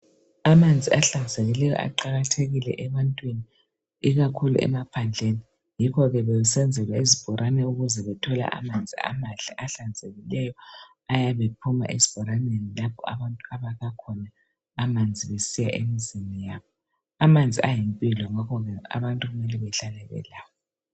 Amanzi ahlanzekile aqakathekile ebantwini. Ikakhulu emaphandleni. Yikho bebesenzelwa izibhorane, ukuze bathole amanzi amahle, ahlanzekileyo, ayabe ephuma esibhoraneni, kapha abantu abakha khona amanzi. Besiya emzini yabo. Amanzi ayimpilo. Yikho abantu kumele bahlale belawo.